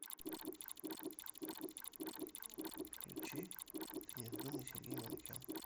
включи ты не вздумай сергей манукян